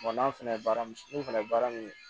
n'a fɛnɛ ye baara min n'o fɛnɛ ye baara min ye